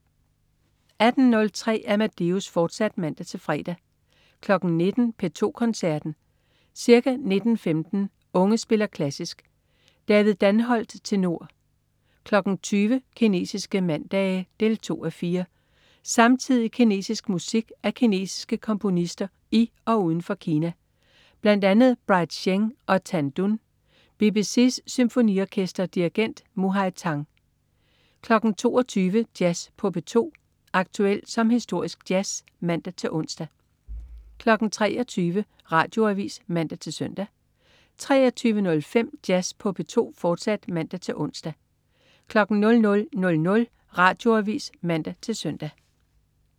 18.03 Amadeus, fortsat (man-fre) 19.00 P2 Koncerten. Ca. 19.15 Unge spiller klassisk. David Danholt, tenor. 20.00 Kinesiske mandage 2:4. Samtidig kinesisk musik af kinesiske komponister i og uden for Kina, bl.a. Bright Sheng og Tan Dun. BBC's Symfoniorkester. Dirigent: Muhai Tang 22.00 Jazz på P2. Aktuel som historisk jazz (man-ons) 23.00 Radioavis (man-søn) 23.05 Jazz på P2, fortsat (man-ons) 00.00 Radioavis (man-søn)